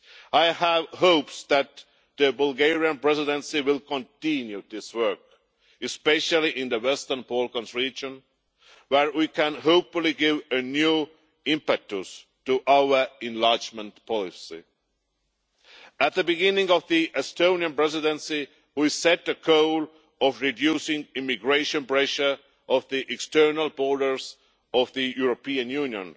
I have hopes that the Bulgarian Presidency will continue this work, especially in the Western Balkans region, where we can hopefully give a new impetus to our enlargement policy. At the beginning of the Estonian Presidency we set the goal of reducing immigration pressure on the external borders of the European Union,